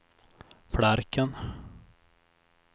Flarken